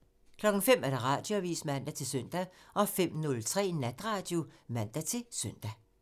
05:00: Radioavisen (man-søn) 05:03: Natradio (man-søn)